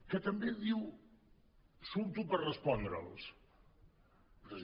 que també diu surto per respondre’ls